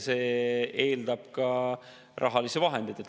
See eeldab ka rahalisi vahendeid.